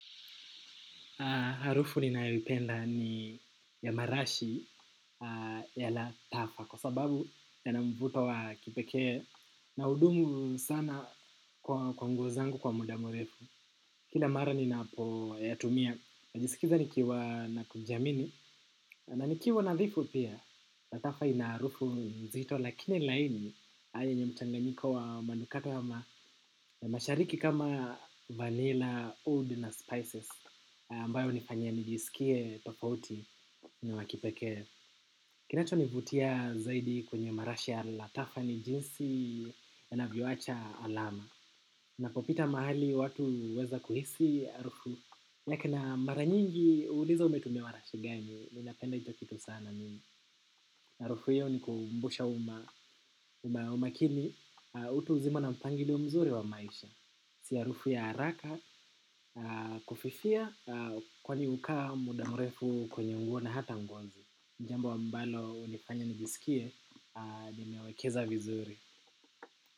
Harufu ninayoipenda ni ya marashi ya Latafa kwa sababu yana mvuto wa kipekee na hudumu sana kwa nguo zangu kwa muda mrefu. Kila mara ninapoyatumia. Najisikiza nikiwa na kujiamini na nikiwa nadhifu pia Latafa ina harufu nzito lakini laini. Yenye mchanganyiko wa manukato ama mashariki kama vanilla, oud na spices ambayo hunifanya nijisikie tofauti na wa kipekee. Kinachonivutia zaidi kwenye marashi ya latafa ni jinsi yanavyowacha alama. Napopita mahali watu huweza kuhisi harufu yake na mara nyingi huuliza umetumia marashi gani. Ninapenda hicho kitu sana mimi harufu hiyo hunikumbusha umakini utu uzima na mpangilio mzuri wa maisha si harufu ya haraka kufifia kwani hukaa muda mrefu kwenye nguo na hata ngozi jambo ambalo hunifanya nijisikie nimewekeza vizuri.